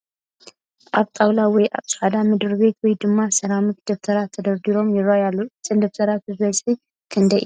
ኣብ ጣውላ ወይም ኣብ ፃዕዳ ምድርቤት ወይ ድማ ሰራሚክ ደብተራት ተደርቢዩ ይረኣ ኣሎ ፡ እዘን ደብተር በዝሐን ክንደይ እየን ?